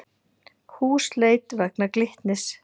Húsleit vegna Glitnis